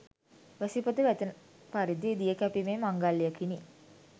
වැසි පොද වැටෙන පරිදි දිය කැපීමේ මංගල්‍යයකිනි.